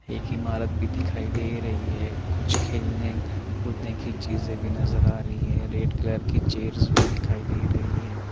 एक इमारत भी दिखाई दे रही है कुछ खेलने कूदने की चीजें भी नजर आ रही है रेड कलर की चेयर्स भी दिखाई दे रही है।